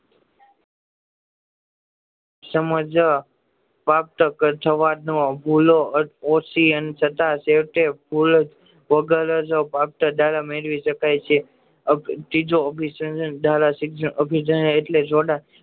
સમજ ભૂલો ઓછી અનસદ્ધ છેવટે ભૂલ વગર જ મેળવી શકાય છે આ